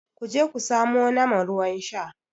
ku je ku samo nama ruwan Sha!